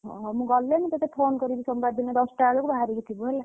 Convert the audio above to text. ହଁ ହଁ, ମୁ ଗଲେ ମୁ ତତେ phone କରିବି ସୋମବାର ଦିନ ଦଶଟା ବେଳକୁ ବହରିକି ଥିବୁ ହେଲା।